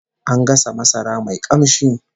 An gasa masara mai kamshi